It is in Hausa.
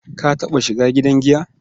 Ka taɓa shiga gidan giya?